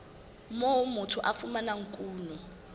moo motho a fumanang kuno